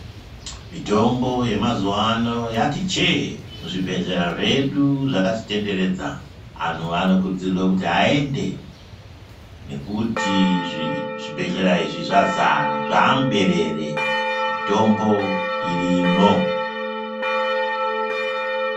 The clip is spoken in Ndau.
Mitombo yemazuvana yati chee muzvibhedhlera zvedu zvakatitenderedza anhu anokurudzirwe kuti aende nekuti zvibhedhlera izvi zvazara zvamuberere mitombo irimo .